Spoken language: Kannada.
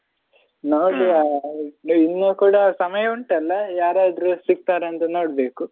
ಇನ್ನು ಕೂಡ ಸಮಯ ಉಂಟಲ್ಲ ಯಾರದ್ರೂ ಸಿಗ್ತರಂತ ನೋಡ್ಬೇಕು.